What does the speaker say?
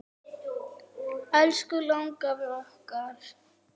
Elsku langafi okkar.